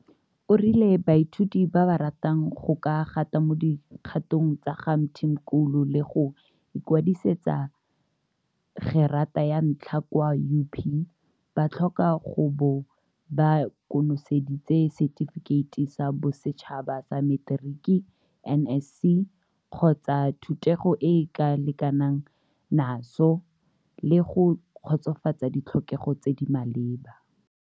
O rile baithuti ba ba ratang go ka gata mo dikgatong tsa ga Mthimkhulu le go ikwadisetsa gerata ya ntlha kwa UP ba tlhoka go bo ba konoseditse Setifikeiti sa Bosetšhaba sa Materiki NSC, kgotsa thutego e e lekanang naso, le go kgotsofatsa ditlhokego tse di maleba.